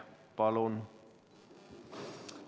Palun!